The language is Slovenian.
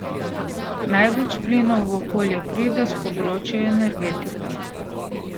Največ plinov v okolje pride s področja energetike.